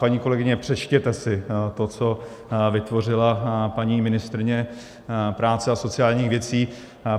Paní kolegyně, přečtěte si, to, co vytvořila paní ministryně práce a sociálních věcí.